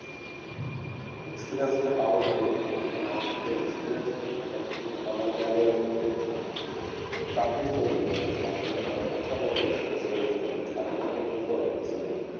experience টা পাবো টা কৈথেকে কারণ আমাকে experience টা পাবার জন্যতো আমাকে আগে চাকরির প্রয়জন আছে চাকরিটা করার পরতো আমাকে experience টা করতে হবে আগে তার আগে তো আমি করতে পারতিছিনা